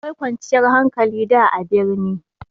Akwai kwanciyar hankali da a birni.